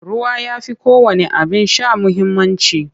Ruwa ya fi kowanne abin sha muhimmanci.